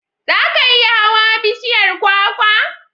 Za ka iya hawan bishiyar kwakwa?